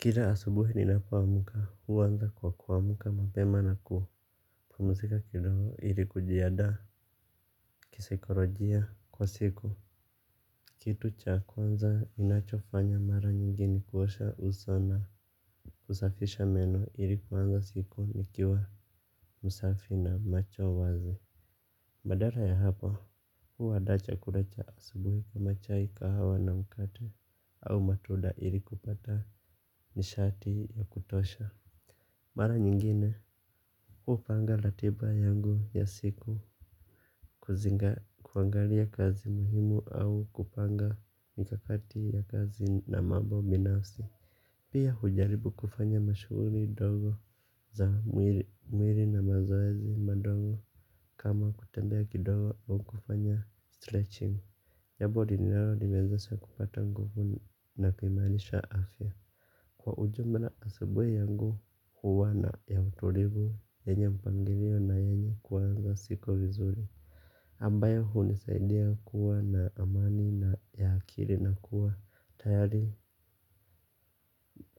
Kila asubuhi ninapo amka huwanza kwa kuamka mapema na kuwa pumzika kidogo ili kujiandaa kisaikolojia kwa siku. Kitu cha kwanza inacho fanya mara nyingi ni kuosha uso na kusafisha meno ili kuanza siku nikiwa msafi na macho wazi. Badala ya hapa, huwa nandaa chakula cha asubuhi kama chai kahawa na mkate au matunda ili kupata nishati ya kutosha. Mara nyingine, hupanga ratiba yangu ya siku kuzinga kuangalia kazi muhimu au kupanga mikakati ya kazi na mambo binafsi. Pia hujaribu kufanya mashughuli ndogo za mwili na mazoezi madogo kama kutembea kidogo aa kufanya stretching Yabodi nilalo nimezasa kupata nguvu na kumalisha afya. Kwa ujumla asubuhi yangu huwa na ya uturigu, enye mpangirio na enye kuwa anga siku vizuri. Ambayo hunisaidia kuwa na amani na ya akili na kuwa tayari